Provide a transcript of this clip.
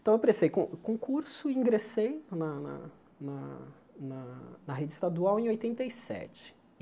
Então eu prestei con concurso e ingressei na na na na rede estadual em oitenta e sete.